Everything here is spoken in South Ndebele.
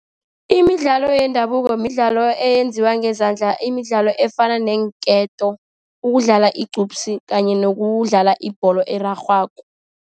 Imidlalo yendabuko midlalo eyenziwa ngezandla, imidlalo efana neenketo, ukudlala igqubsi, kanye nokudlala ibholo erarhwako.